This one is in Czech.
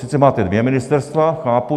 Sice máte dvě ministerstva - chápu.